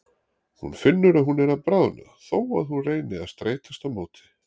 Hún finnur að hún er að bráðna þó að hún reyni að streitast á móti.